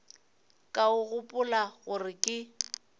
ka o gopola gore ke